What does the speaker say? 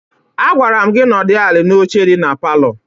Agwara m gị nọdụ ala n'ọche dị na palọ!